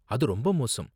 அது ரொம்ப மோசம்.